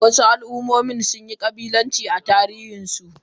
Wasu al'ummomi sun yi kabilanci a tarihinsu.